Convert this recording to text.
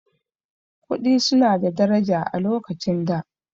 Kuɗi su na da daraja a lokacin da